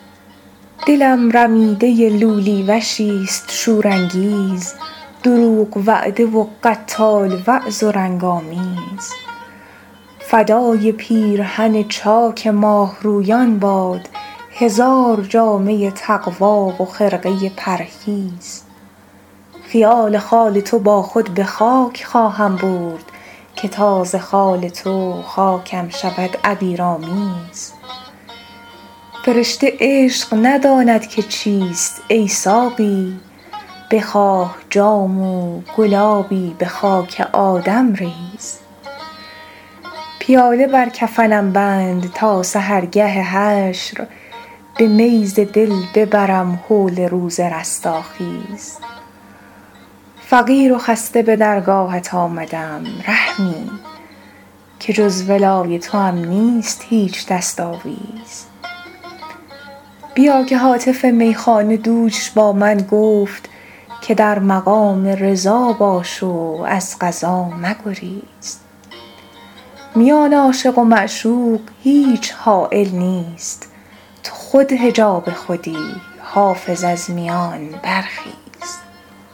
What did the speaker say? دلم رمیده لولی وشیست شورانگیز دروغ وعده و قتال وضع و رنگ آمیز فدای پیرهن چاک ماهرویان باد هزار جامه تقوی و خرقه پرهیز خیال خال تو با خود به خاک خواهم برد که تا ز خال تو خاکم شود عبیرآمیز فرشته عشق نداند که چیست ای ساقی بخواه جام و گلابی به خاک آدم ریز پیاله بر کفنم بند تا سحرگه حشر به می ز دل ببرم هول روز رستاخیز فقیر و خسته به درگاهت آمدم رحمی که جز ولای توام نیست هیچ دست آویز بیا که هاتف میخانه دوش با من گفت که در مقام رضا باش و از قضا مگریز میان عاشق و معشوق هیچ حایل نیست تو خود حجاب خودی حافظ از میان برخیز